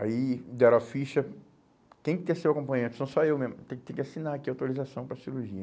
Aí deram a ficha... Quem que é seu acompanhante? Sou só eu mesmo. Tem que assinar aqui a autorização para a cirurgia.